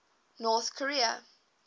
north korea